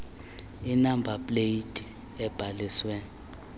inamba pleyiti ebhaliswe